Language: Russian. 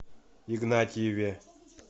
игнатьеве